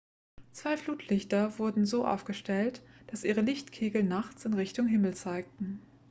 zwei flutlichter wurden so aufgestellt dass ihre lichtkegel nachts in richtung himmel zeigten